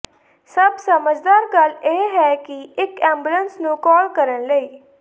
ਸਭ ਸਮਝਦਾਰ ਗੱਲ ਇਹ ਹੈ ਕਿ ਇੱਕ ਐਬੂਲਸ ਨੂੰ ਕਾਲ ਕਰਨ ਲਈ